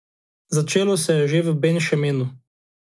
Začelo se je že v Ben Šemenu.